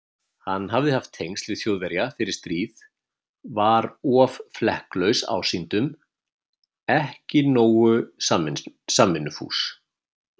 Hann hafði haft tengsl við Þjóðverja fyrir stríð, var of flekklaus ásýndum, ekki nógu samvinnufús.